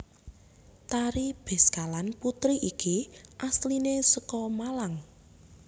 Tari Beskalan Putri iki asliné saka Malang